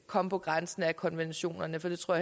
komme på grænsen af konventionerne for det tror